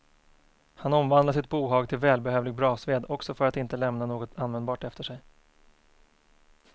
Han omvandlar sitt bohag till välbehövlig brasved, också för att inte lämna något användbart efter sig.